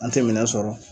An tɛ minɛn sɔrɔ